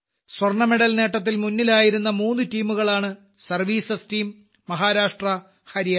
സ്വർണ്ണമെഡൽ നേട്ടത്തിൽ മുന്നിലുണ്ടായിരുന്ന മൂന്നു ടീമുകളാണ് സർവീസസ്സ ടീം മഹാരാഷ്ട്ര ഹരിയാന